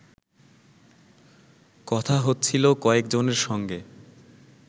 কথা হচ্ছিল কয়েকজনের সঙ্গে